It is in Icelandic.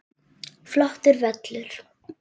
Flottur völlur.